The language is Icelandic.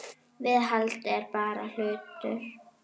Viðhald er bara hlutur.